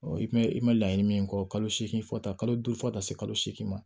i mɛn i ma laɲini min kɔ kalo seegin fɔ taa kalo duuru fɔ ka taa se kalo segin ma